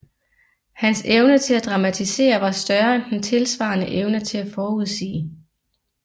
Hans evne til at dramatisere var større end den tilsvarende evne til at forudsige